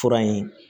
Fura in